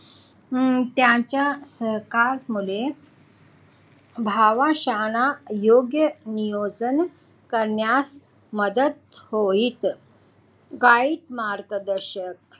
हम्म त्यांच्या सहकार मध्ये भावा शाळा योग्य नियोजन करण्यात मदत होईल काहीच मार्गदर्शक